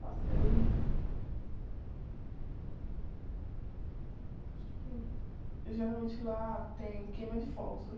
Passei... Geralmente lá tem queima de fogos, né?